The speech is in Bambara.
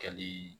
Kɛli